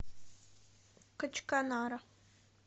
качканара